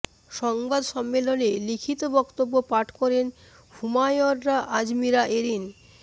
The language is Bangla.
সংবাদ সম্মেলনে লিখিত বক্তব্য পাঠ করেন হুমায়রা আজমিরা এরিন